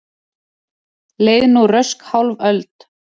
Leið nú rösk hálf öld.